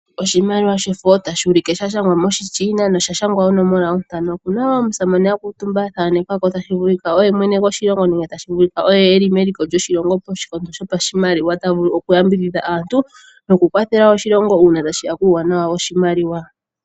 Oshimaliwa shefo tashi ulike sha shangwa moshiChina nosha shangwa onomola ontano. Okuna omusamane a kuutumba a thanekwa ko tashi vulika oye mwene goshilongo nenge tashi vulika oye eli meliko lyoshilongo koshikondo sho pashimaliwa. Ta vulu oku yambidhidha aantu noku kwathela wo Oshilongo una tashiya kuuwanawa woshimaliwa.